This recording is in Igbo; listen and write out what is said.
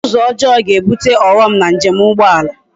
Uzo ojoo ga ebute oghom na njem ugboala